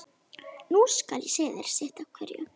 Nú skal ég segja þér sitt af hverju.